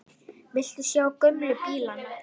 Viltu sjá gömlu bílana?